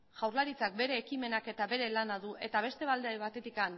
jaurlaritzak bere ekimenak eta bere lana du eta beste alde batetik